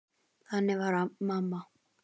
Þannig var mamma.